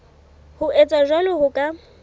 ho etsa jwalo ho ka